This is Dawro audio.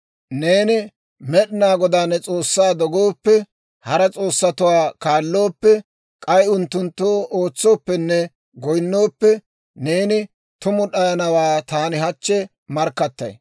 «Neeni Med'inaa Godaa ne S'oossaa dogooppe, hara s'oossatuwaa kaallooppe, k'ay unttunttoo ootsooppenne goyinooppe, neeni tumu d'ayanawaa taani hachchi markkattay.